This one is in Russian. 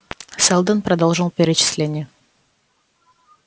сэлдон продолжил перечисление